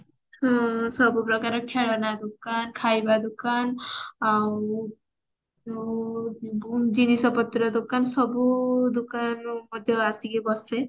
ହଁ ସବୁ ପ୍ରକାର ଖେଳଣା ଦୁକାନ ଖାଇବା ଦୁକାନ ଆଉ ଗୁ ଜିନିଷ ପତ୍ର ଦୋକାନ ସବୁ ଦୋକାନ ଯୋଉ ଆସିକି ବସେ